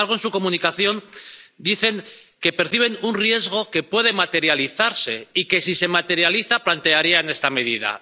Y, sin embargo, en su comunicación dicen que perciben un riesgo que puede materializarse y que, si se materializa, plantearían esta medida.